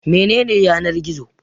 Mene ne Yanar-gizo?